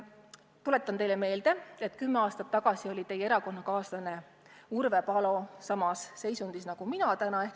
Tuletan teile meelde, et kümme aastat tagasi oli teie erakonnakaaslane Urve Palo samas ametis nagu mina täna.